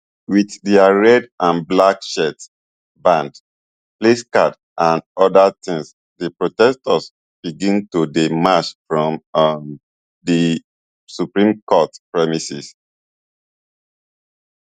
wit dia red and black shirts bands placards and oda tins di protestors begin to dey march from um di supreme court premises